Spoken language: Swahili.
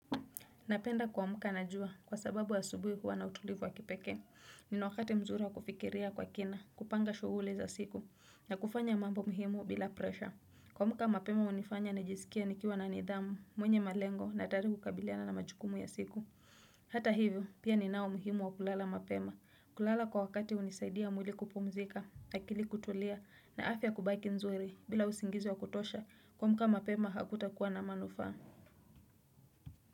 Napenda kua amka na jua kwa sababu asubuhi huwa na utulivu wa kipekee. Nina wakati mzuri wa kufikiria kwa kina, kupanga shughuli za siku, na kufanya mambo muhimu bila presha. Ku amka mapema hunifanya najisikie nikiwa na nidhamu, mwenye malengo na tayari kukabiliana na majukumu ya siku. Hata hivyo, pia ni nao umuhimu wa kulala mapema. Kulala kwa wakati hunisaidia mwili kupumzika, akili kutulia, na afya kubaki nzuri bila usingizi wa kutosha, kuamka mapema hakutakuwa na manufaa.